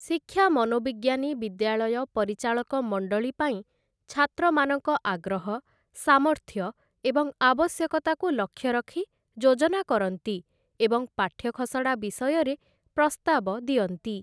ଶିକ୍ଷା ମନୋବିଜ୍ଞାନୀ ବିଦ୍ୟାଳୟ ପରିଚାଳକ ମଣ୍ଡଳୀ ପାଇଁ ଛାତ୍ରମାନଙ୍କ ଆଗ୍ରହ ସାମର୍ଥ୍ୟ ଏବଂ ଆବଶ୍ୟକତାକୁ ଲକ୍ଷ୍ୟ ରଖି ଯୋଜନା କରନ୍ତି ଏବଂ ପାଠ୍ୟଖସଡ଼ା ବିଷୟରେ ପ୍ରସ୍ତାବ ଦିଅନ୍ତି ।